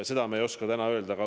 Seda me ei oska täna kinnitada.